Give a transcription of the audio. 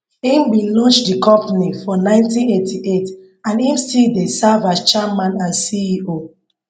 im bin launch di company for 1988 and im still dey serve as chairman and ceo